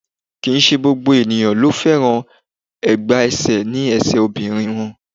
Kì í ṣe gbogbo èèyàn ló fẹ́ràn ẹ̀gbá ẹsẹ̀ ní ẹṣè obìnrin wọn.